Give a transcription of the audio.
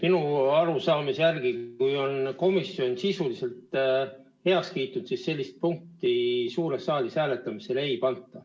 Minu arusaamise järgi on nii, et kui komisjon on ettepaneku sisuliselt heaks kiitnud, siis seda punkti suures saalis hääletamisele ei panda.